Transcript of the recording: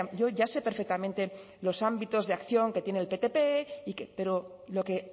yo ya sé perfectamente los ámbitos de acción que tiene el ptp pero lo que